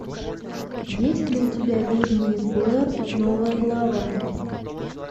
есть ли у тебя ведьма из блэр новая глава